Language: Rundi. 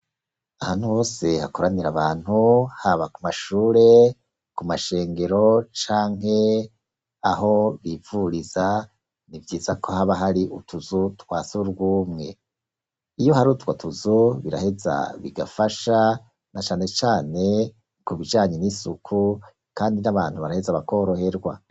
Ahantu hose hakoranira abantu haba ku mashure, ku mashengero, canke aho bivuriza, ni vyiza ko haba hari utuzu twa sugumwe, iyo hari utwo tuzu biraheza bigafasha na canecane ku bijanye n'isuku kandi n'abantu baraheza bakoroherwa.